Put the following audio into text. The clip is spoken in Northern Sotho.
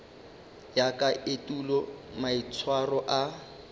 ya ka etulo maitshwaro a